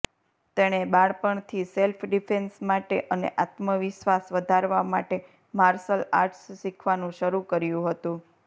તેણે બાળપણથી self defence માટે અને આત્મવિશ્વાસ વધારવા માટે માર્શલ આર્ટ્સ શીખવાનું શરૂ કર્યું હતું